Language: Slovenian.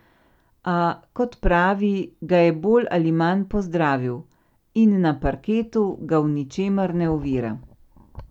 A, kot pravi, ga je bolj ali manj pozdravil in na parketu ga v ničemer ne ovira.